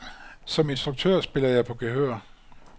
Som instruktør spiller jeg på gehør.